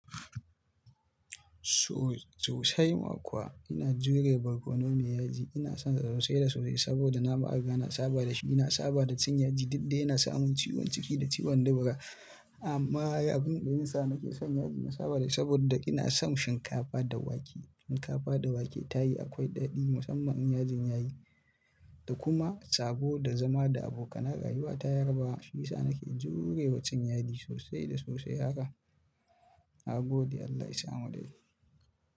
So sosai ma kuwa ina jure barkono mai yaji. Ina son sosai da sosai saboda nama riga na saba da shi, nina saba da cin yaji daɗi yana sa mun ciwon ciki da ciwon dubura amma abin da yin sa nake son yaji na saba da shi saboda ina son shinkafa da wake. Shinkafa da wake ta yi akwai daɗi musamman yin yajin yayi. Da kuma tsago da zama da abokan aiwa ta yarbawa Shi sa nake jurewa cin yaji sosai da sosai haka. Nagode Allah isa mu da ce.